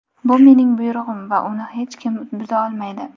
Bu mening buyrug‘im va uni hech kim buza olmaydi.